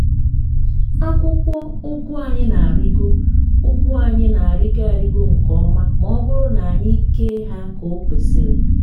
akwụkwọ ụgụ anyị na-arịgo ụgụ anyị na-arịgo arịgo nke ọma ma ọ bụrụ na anyị kee ha ka o kwesịrị.